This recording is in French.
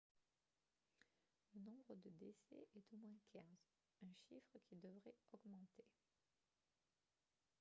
le nombre de décès est d'au moins 15 un chiffre qui devrait augmenter